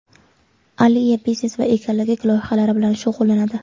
Aliya biznes va ekologik loyihalar bilan shug‘ullanadi.